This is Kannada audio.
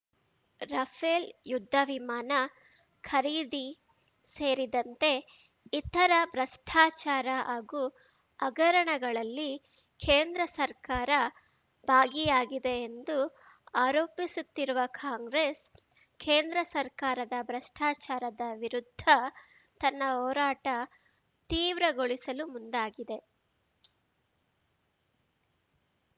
ರಫೇಲ್‌ ಯುದ್ಧ ವಿಮಾನ ಖರೀದಿ ಸೇರಿದಂತೆ ಇತರ ಭ್ರಷ್ಟಾಚಾರ ಹಾಗೂ ಹಗರಣಗಳಲ್ಲಿ ಕೇಂದ್ರ ಸರ್ಕಾರ ಭಾಗಿಯಾಗಿದೆ ಎಂದು ಆರೋಪಿಸುತ್ತಿರುವ ಕಾಂಗ್ರೆಸ್‌ ಕೇಂದ್ರ ಸರ್ಕಾರದ ಭ್ರಷ್ಟಾಚಾರದ ವಿರುದ್ಧ ತನ್ನ ಹೋರಾಟ ತೀವ್ರಗೊಳಿಸಲು ಮುಂದಾಗಿದೆ